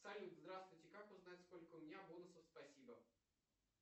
салют здравствуйте как узнать сколько у меня бонусов спасибо